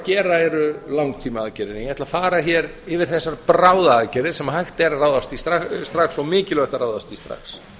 gera eru langtímaaðgerðir ég ætla að fara hér yfir þessar bráðaaðgerðir sem hægt er að ráðast í strax og mikilvægt að ráðast í strax